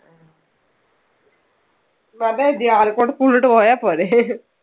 school ലോട്ട് പോയാൽ പോരെ